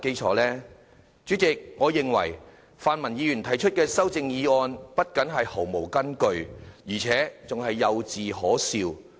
代理主席，我認為泛民議員提出的修正案不僅毫無根據，而且幼稚可笑。